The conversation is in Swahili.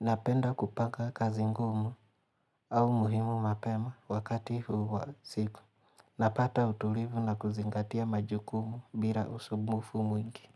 Napenda kupaka kazi ngumu au muhimu mapema wakati wa usiku. Napata utulivu na kuzingatia majukumu bila usumbufu mwingi.